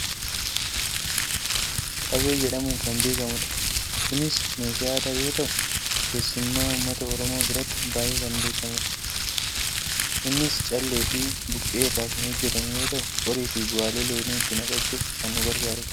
qabee jedhamuun kan beekkamudha. kunis meeshaa aadaa yoo ta'u keessumaa uummata oromoo biratti baayyee kan beekkamudha. innis caalleefi buqqee irraa kan hojjatamu yoo ta'u qoriifi bu'aalee loonii itti naqachuuf kan nu gargaarudha.